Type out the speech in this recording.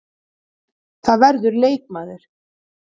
Það verður leikmaður.